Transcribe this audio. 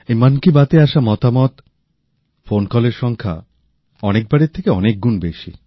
এই মন কি বাতে আসা মতামত ফোনকলের সংখ্যা অন্য বারের থেকে অনেক গুণ বেশি